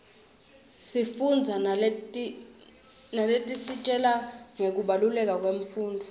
sifundza naletisitjela ngekubaluleka kwemfundvo